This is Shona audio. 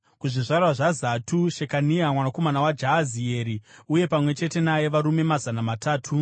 kuzvizvarwa zvaZatu, Shekania mwanakomana waJahazieri, uye pamwe chete naye varume mazana matatu;